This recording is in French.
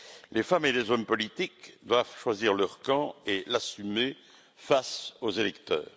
Les femmes et les hommes politiques doivent choisir leur camp et l'assumer face aux électeurs.